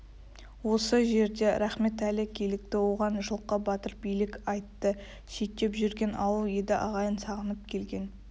осы жерде рахметәлі килікті оған жылқы батыр билік айтты шеттеп жүрген ауыл еді ағайын сағынып келген